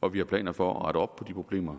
og vi har planer for at rette op på de problemer